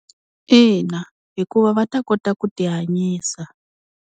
Ina hikuva va ta kota ku tihanyisa.